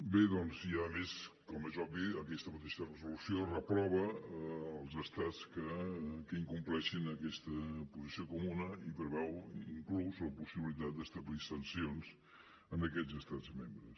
bé doncs i a més com és obvi aquesta mateixa resolució reprova els estats que incompleixin aquesta posició comuna i preveu inclús la possibilitat d’establir sancions a aquests estats membres